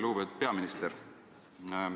Lugupeetud peaminister!